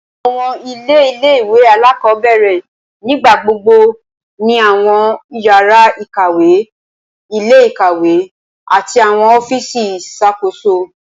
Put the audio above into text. Awọn ile ile-iwe alakọbẹrẹ nigbagbogbo ni awọn yara ikawe, ile-ikawe, ati awọn ọfíìsì iṣakoso.